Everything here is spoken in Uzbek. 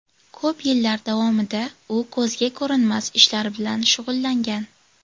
Ko‘p yillar davomida u ko‘zga ko‘rinmas ishlar bilan shug‘ullangan.